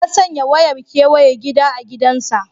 Ya sanya wayar kewaye gida a gidansa.